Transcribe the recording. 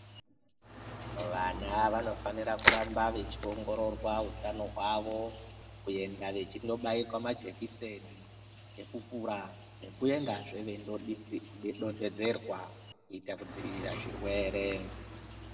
Vana vanofanira kuramba veiongororwa hutano hwavo kuenda vachindobairwa majekiseni ekukura nekuendazve veindodonhedzerwa kuita kudzivirirwa zvirwere.